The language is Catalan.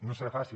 no serà fàcil